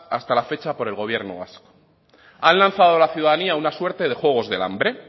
hasta la fecha por el gobierno vasco han lanzado a la ciudadanía una suerte de juegos del hambre